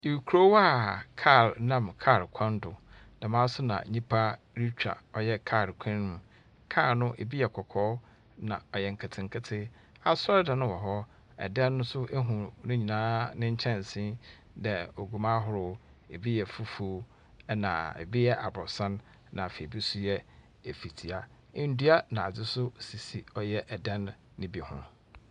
Ekrow a kaar nam kaar kwan do. Dɛɛmaa nso na nipa ritwa ɔyɛ kaar kwan mo. Kaar no, ebi yɛ kɔkɔɔ na ɔyɛ nkitikiti. Asɔr di no wɔ hɔ. Ɛdan no so ehu ninyinaa ne kyɛnsii dɛ oguu ahorow. Ebi yɛ fufu ɛna ebi yɛ abrosan, ebi yɛ efitia. Endua na adi sisi ɔyɛ ɛdan no bi ho.